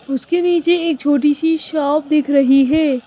उसके नीचे एक छोटी सी शॉप दिख रही है।